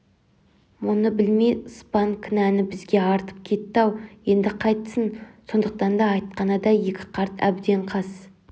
мұны білмей спан кінәні бізге артып кетті-ау енді қайтсін сондықтан айтқаны да екі қарт әбден қас